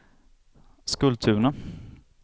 Skultuna